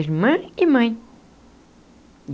Irmã e mãe.